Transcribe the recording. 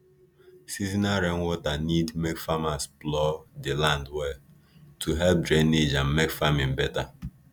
seasonal rainwater need make farmers plough the land well to help drainage and make farming better